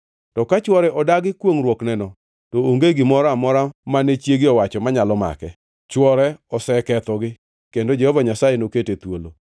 To ka chwore odagi kwongʼruokneno, to onge gimoro amora mane chiege owacho manyalo make. Chwore osekethogi, kendo Jehova Nyasaye nokete thuolo.